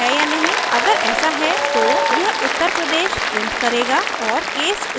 अगर ऐसा है तो यह uttar pradesh प्रिंट करेगा और case स्टेटमेंट छोड़ दें